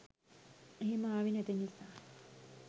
එහෙම ආවේ නැති නිසා